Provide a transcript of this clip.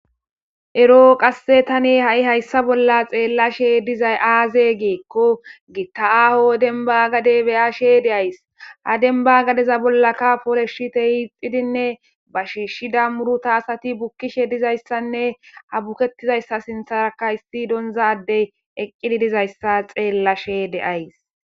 eroo qasse tane ha7i hayssa bolla xeellashe dizay aaze geekko gitta aho denba gade beyashe de7ays ha denba gadeza bollaka pooleshite hiixidinne ba shiishshida muruta asati bukkishe dizayssanne abuketizayssa sintharakahisti doonza adey eqqidi dizayssa xeellashe de7ays